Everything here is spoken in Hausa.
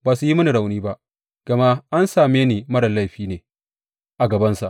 Ba su yi mini rauni ba, gama an same ni marar laifi ne a gabansa.